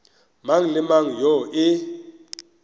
mang le mang yoo e